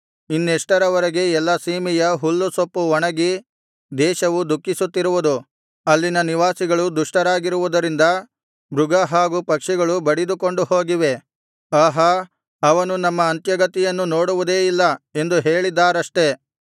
ಇನ್ನೆಷ್ಟರವರೆಗೆ ಎಲ್ಲಾ ಸೀಮೆಯ ಹುಲ್ಲುಸೊಪ್ಪು ಒಣಗಿ ದೇಶವು ದುಃಖಿಸುತ್ತಿರುವುದು ಅಲ್ಲಿನ ನಿವಾಸಿಗಳು ದುಷ್ಟರಾಗಿರುವುದರಿಂದ ಮೃಗ ಹಾಗು ಪಕ್ಷಿಗಳು ಬಡಿದುಕೊಂಡು ಹೋಗಿವೆ ಆಹಾ ಅವನು ನಮ್ಮ ಅಂತ್ಯಗತಿಯನ್ನು ನೋಡುವುದೇ ಇಲ್ಲ ಎಂದು ಹೇಳಿದ್ದಾರಷ್ಟೆ